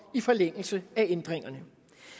i forlængelse af ændringerne